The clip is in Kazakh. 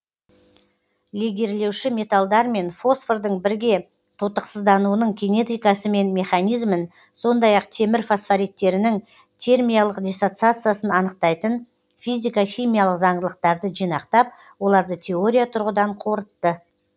легирлеуші металдар мен фосфордың бірге тотықсыздануының кинетикасы мен механизмін сондай ақ темір фосфориттерінің термиялық диссоциациясын анықтайтын физика химиялық заңдылықтарды жинақтап оларды теория тұрғыдан қорытты